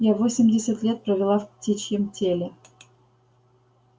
я восемьдесят лет провела в птичьем теле